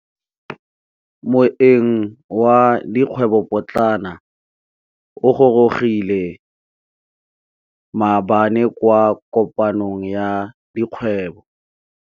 Moêng wa dikgwêbô pôtlana o gorogile maabane kwa kopanong ya dikgwêbô.